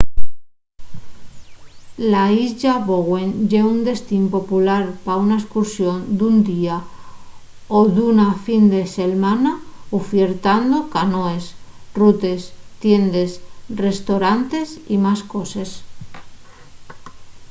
la islla bowen ye un destín popular pa una escursión d’un día o d’una fin de selmana ufiertando canoes rutes tiendes restoranes y más coses